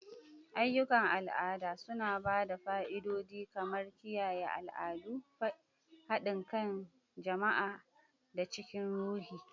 Ayyukan al'ada suna ba da fa'idodi kamar kiyaye al'adu, haɗin kan jama'a, da cikar ruhi.